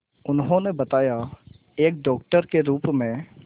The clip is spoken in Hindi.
उन्होंने बताया एक डॉक्टर के रूप में